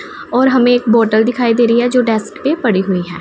और हमें एक बोटल दिखाई दे रही हैं जो डेस्क पे पड़ी हुईं हैं।